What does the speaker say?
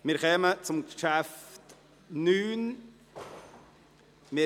Wir kommen zu Traktandum 9.